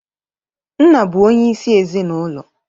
Nna bụ onye isi ezinaulo.